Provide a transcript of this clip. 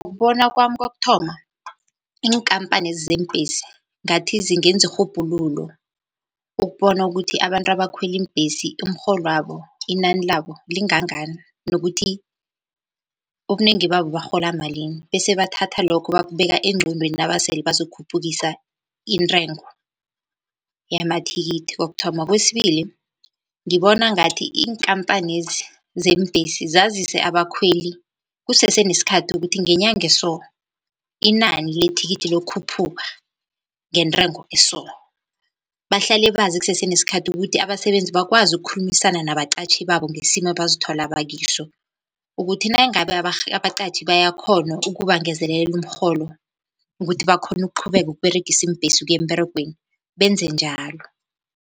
Ngokubona kwami kokuthoma, iinkampani lezi zeembhesi ngathi zingenza irhubhululo ukubona ukuthi abantu abakhwela iimbhesi umrholwabo, inani labo lingangani nokuthi ubunengi babo barhola malini. Bese bathatha lokho bakubeka engqondweni nabasele bazokukhuphukisa intengo yamathikithi kokuthoma. Kwesibili, ngibona ngathi iinkampanezi zeembhesi zazise abakhweli kusese nesikhathi, ukuthi ngenyanga eso inani lethikithi liyokukhuphuka ngentengo eso. Bahlale bazi kusese nesikhathi ukuthi abasebenzi bakwazi ukukhulumisana nabaqatjhi babo ngesimo abazithola bakiso. Ukuthi nayingabe abaqatjhi bayakghona ukubangezelelela umrholo ukuthi bakghone ukuqhubeka ukUberegisa iimbhesi ukuyemberegweni benze njalo.